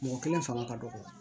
Mɔgɔ kelen fanga ka dɔgɔ